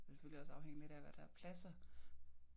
Det vil selvfølgelig også afhænge lidt af hvad der er af pladser